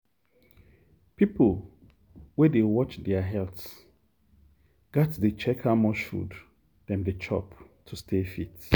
people wey dey watch their health gats dey check how much food dem dey chop to stay fit.